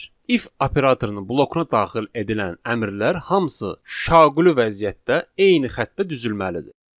İf operatorunun blokuna daxil edilən əmrlər hamısı şaquli vəziyyətdə eyni xəttdə düzəlməlidir.